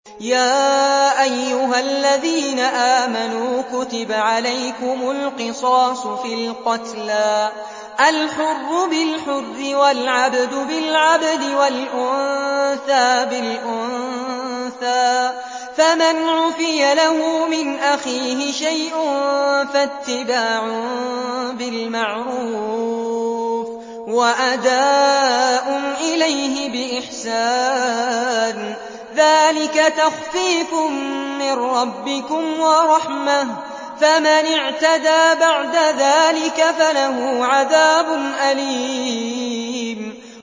يَا أَيُّهَا الَّذِينَ آمَنُوا كُتِبَ عَلَيْكُمُ الْقِصَاصُ فِي الْقَتْلَى ۖ الْحُرُّ بِالْحُرِّ وَالْعَبْدُ بِالْعَبْدِ وَالْأُنثَىٰ بِالْأُنثَىٰ ۚ فَمَنْ عُفِيَ لَهُ مِنْ أَخِيهِ شَيْءٌ فَاتِّبَاعٌ بِالْمَعْرُوفِ وَأَدَاءٌ إِلَيْهِ بِإِحْسَانٍ ۗ ذَٰلِكَ تَخْفِيفٌ مِّن رَّبِّكُمْ وَرَحْمَةٌ ۗ فَمَنِ اعْتَدَىٰ بَعْدَ ذَٰلِكَ فَلَهُ عَذَابٌ أَلِيمٌ